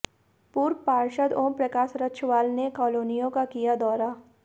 पूर्व पार्षद ओमप्रकाश रक्षवाल ने कॉलोनियों का किया दौरा